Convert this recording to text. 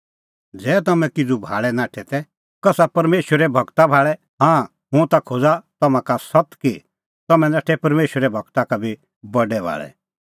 तै तम्हैं किज़ू भाल़ै नाठै तै कसा परमेशरे गूरा भाल़ै हाँ हुंह खोज़ा तम्हां का सत्त कि तम्हैं नाठै परमेशरे गूरा का बी बडै भाल़ै